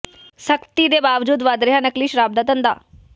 ਸਖ਼ਤੀ ਦੇ ਬਾਵਜੂਦ ਵਧ ਰਿਹਾ ਨਕਲੀ ਸ਼ਰਾਬ ਦਾ ਧੰਦਾ